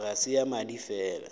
ga se ya madi fela